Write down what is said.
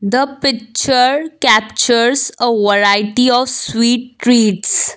the picture capteres a variety of sweet treats.